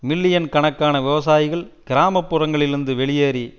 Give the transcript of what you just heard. million கணக்கான விவசாயிகள் கிராமப்புறங்களிலிருந்து வெளியேறி